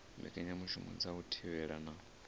mbekanyamushumo dza u thivhela na